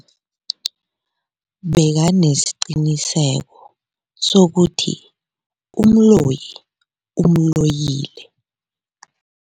Bekanesiqiniseko sokuthi umloyi umloyile.